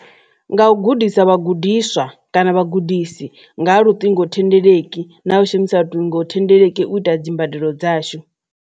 Nga u gudisa vhagudiswa kana vhagudisi nga luṱingo thendeleki na u shumisa luṱingo thendeleki u ita dzimbadelo dzashu.